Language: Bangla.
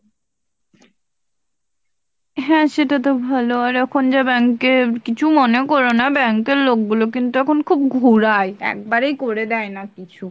হ্যাঁ সেটাতো ভালো আর এখন যা bank এ কিছু মনে করোনা, bank এর লোকগুলো কিন্তু এখন খুব ঘুরায় একেবারেই করে দেয়না কিছু,